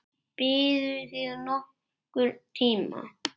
Biðuð þið nokkurn tíma?